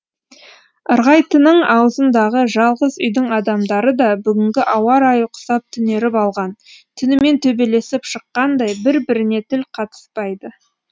ырғайтының аузындағы жалғыз үйдің адамдары да бүгінгі ауа райы құсап түнеріп алған түнімен төбелесіп шыққандай бір біріне тіл қатыспайды